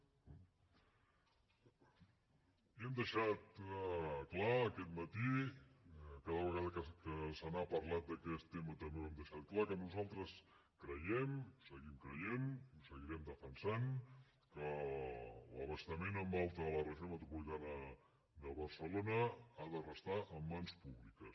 i hem deixat clar aquest matí cada vegada que se n’ha parlat d’aquest tema també ho hem deixat clar que nosaltres creiem ho seguim creient ho seguirem defensant que l’abastament en alta a la regió metropolitana de barcelona ha de restar en mans públiques